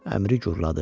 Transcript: Əmri gurladı.